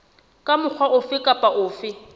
ka mokgwa ofe kapa ofe